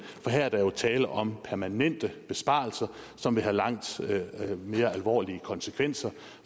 der er der jo tale om permanente besparelser som vil have langt mere alvorlige konsekvenser